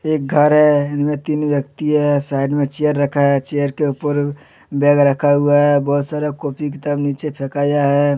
एक घर है जिनमें थीं व्यक्ति है साइड में चेयर रखा है चेयर के ऊपर बैग रखा हुआ है बहुत सारे कॉपी किताब नीचे फेकाया है।